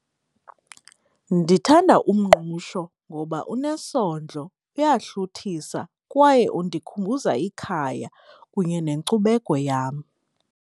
Ndithanda umngqusho ngoba unesondlo, uyahluthisa kwaye undikhumbuza ikhaya kunye nenkcubeko yam.